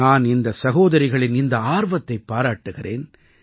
நான் இந்த சகோதரிகளின் இந்த ஆர்வத்தைப் பாராட்டுகிறேன்